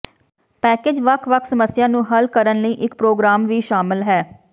package ਵੱਖ ਵੱਖ ਸਮੱਸਿਆ ਨੂੰ ਹੱਲ ਕਰਨ ਲਈ ਇੱਕ ਪ੍ਰੋਗਰਾਮ ਵੀ ਸ਼ਾਮਲ ਹੈ